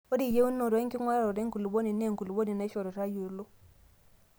ore eyieunoto enkinguraroto enkulupuoni naa enkulupuoni nashoru tayiolo